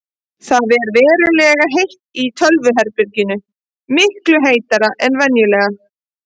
Það ver verulega heitt í tölvuherberginu, miklu heitara en venjulega.